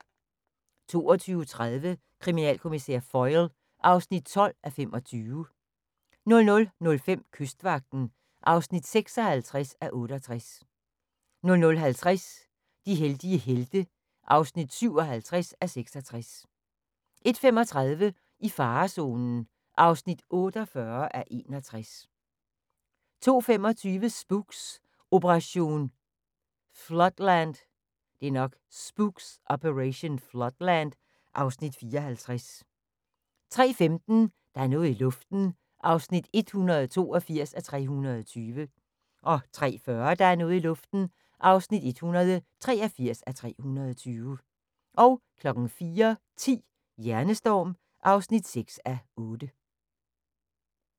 22:30: Kriminalkommissær Foyle (12:25) 00:05: Kystvagten (56:68) 00:50: De heldige helte (57:66) 01:35: I farezonen (48:61) 02:25: Spooks: Operation Floodland (Afs. 54) 03:15: Der er noget i luften (182:320) 03:40: Der er noget i luften (183:320) 04:10: Hjernestorm (6:8)